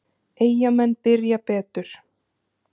Eyjamenn byrja betur.